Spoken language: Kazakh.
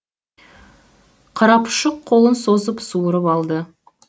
қарапұшық қолын созып суырып алды